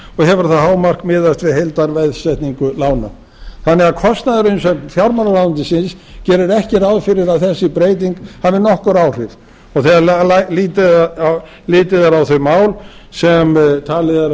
hefur það hámark miðast við heildarveðsetningu lána þannig að kostnaðarumsögn fjármálaráðuneytisins gerir ekki ráð fyrir að þessi breyting hafi nokkur áhrif og þegar litið er á þau mál sem talið er að